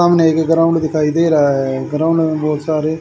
सामने एक ग्राउंड दिखाई दे रहा है ग्राउंड में बहुत सारे--